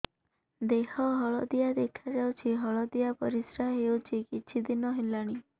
ଦେହ ହଳଦିଆ ଦେଖାଯାଉଛି ହଳଦିଆ ପରିଶ୍ରା ହେଉଛି କିଛିଦିନ ହେଲାଣି